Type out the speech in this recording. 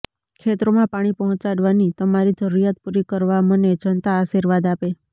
ખેતરોમાં પાણી પહોંચાડવાની તમારી જરૂરિયાત પૂરી કરવા મને જનતા આશીર્વાદ આપે